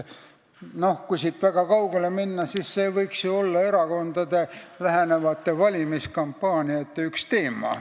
Kui siit kaugemale minna, siis see võiks ju olla erakondade lähenevate valimiskampaaniate üks teema.